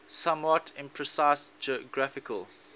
somewhat imprecise geographical